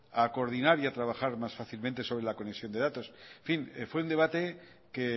a coordinar y a trabajar más fácilmente sobre la conexión de datos fue un debate que